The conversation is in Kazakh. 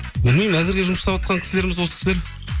білмеймін әзірге жұмыс жасаватқан кісілеріміз осы кісілер